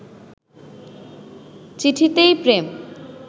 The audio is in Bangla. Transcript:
চিঠিতেই প্রেম